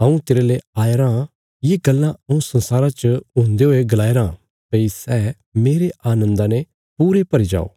हऊँ तेरले आया रां ये गल्लां हऊँ संसारा च हुंदे हुए गलाया राँ भई सै मेरे आनन्दा ने पूरे भरी जो